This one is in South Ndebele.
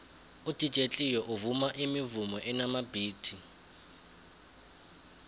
udj cleo uvuma imivumo enamabhithi